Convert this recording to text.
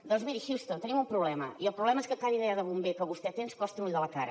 doncs miri houston tenim un problema i el problema és que cada idea de bomber que vostè té ens costa un ull de la cara